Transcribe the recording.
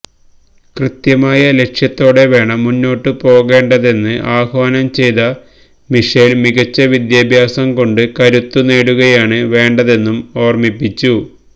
കൃത്യമായ ലക്ഷ്യത്തോടെ വേണം മുന്നോട്ട് പോകേണ്ടതെന്ന് ആഹ്വാനം ചെയ്ത മിഷേല് മികച്ച വിദ്യാദ്യാസം കൊണ്ട് കരുത്തു നേടുകയാണ് വേണ്ടെതെന്നും ഓര്മ്മിപ്പിച്ചു